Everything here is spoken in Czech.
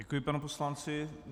Děkuji panu poslanci.